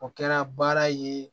O kɛra baara ye